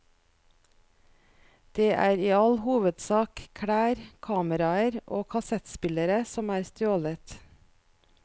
Det er i all hovedsak klær, kameraer og kassettspillere som er stjålet.